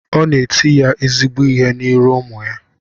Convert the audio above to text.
O na et ya ezigbo ihe na iru umu ya